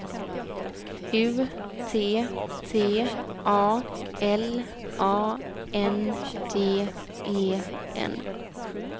U T T A L A N D E N